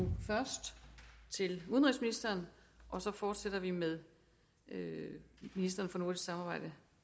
først til udenrigsministeren og så fortsætter vi med ministeren for nordisk samarbejde